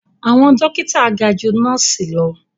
Àwọn dókítà ga ju nọ́ọ̀sì lọ